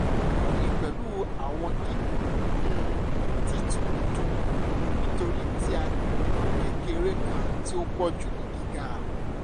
eyin pẹlu awọn kikun um titun dun nitori ti a kekere kan ti o pọju ni giga